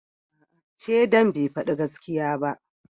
Shaidan bai fadi gaskiya ba